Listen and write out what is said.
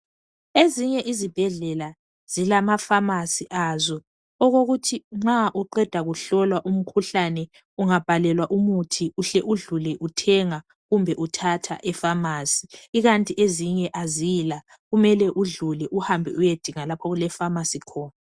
Ezinye izibhedlela zilamafamasi azo okokuthi nxa uqeda kuhlolwa umkhuhlane ungabhalelwa umuthi uhle udlule uthenga kumbe uthatha khona. Kukanti ezinye azila kumele udlule uhambe uyedinga lapho okulefamasi khona.